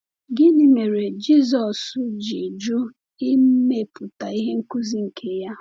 Gịnị mere Jisọs ji jụ imepụta ihe nkuzi nke ya?